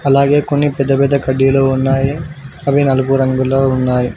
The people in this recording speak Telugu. అలాగే కొన్ని పెద్ద పెద్ద కడ్డీలు ఉన్నాయి అవి నలుపు రంగులో ఉన్నాయి